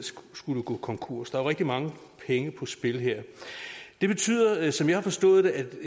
skulle gå konkurs der er jo rigtig mange penge på spil her det betyder som jeg har forstået